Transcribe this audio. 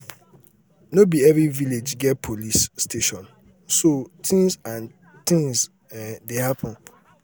no be every village get police um station so um things and things um dey happen